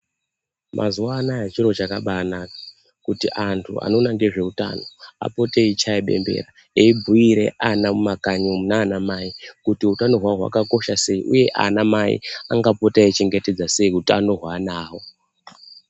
Mazuwa anaya chiro chakabana kuti antu anoona ngezveutano apote eichaye bembera eibhuire ana mumakanyi umu nana mai kuti utano hwawo hwakakosha sei uye ana mai angapota eichengetedza sei utano hweana awo.